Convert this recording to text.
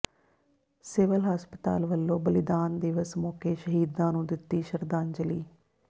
civil ਹਸਪਤਾਲ ਵੱਲੋਂ ਬਲੀਦਾਨ ਦਿਵਸ ਮੌਕੇ ਸ਼ਹੀਦਾਂ ਨੂੰ ਦਿੱਤੀ ਸ਼ਰਧਾਂਜਲੀ